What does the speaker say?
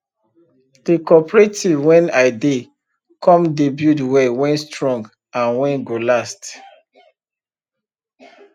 the cooperative wen i dey come dey build well wen strong and wen go last